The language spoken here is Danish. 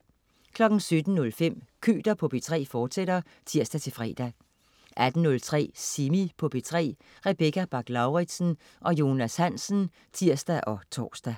17.05 Køter på P3, fortsat (tirs-fre) 18.03 Semi på P3. Rebecca Bach-Lauritsen og Jonas Hansen (tirs og tors)